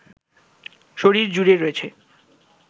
শরীর জুড়ে রয়েছে